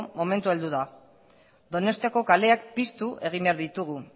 momentua heldu da donostiako kaleak piztu egin behar ditugu